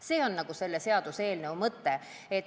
See on selle seaduseelnõu mõte.